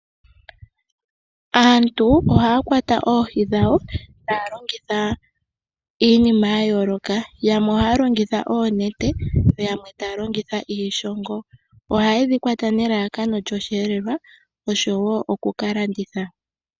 Aantu ohaya kwata oohi dhawo taya longitha iinima yayooloka. Yamwe ohaya longitha oonete yo yamwe taya longitha iishongo. Ohaye dhikwata nelalakano lyoshiyelelwa osho wo okuka landitha.